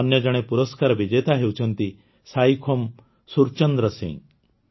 ଅନ୍ୟ ଜଣେ ପୁରସ୍କାର ବିଜେତା ହେଉଛନ୍ତି ସାଇଖୌମ୍ ସୂରଚନ୍ଦ୍ର ସିଂ